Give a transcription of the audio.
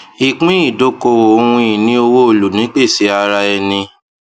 ìpínìdókòwò ohun ìní owó olùnípèsè ara ẹni